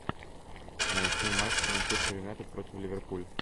найти матч манчестер юнайтед против ливерпуль